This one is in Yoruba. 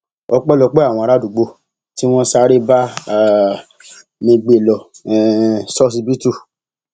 ọpẹlọpẹ àwọn aràádúgbò tí wọn sáré bá um mi gbé e lọ um ṣọsibítù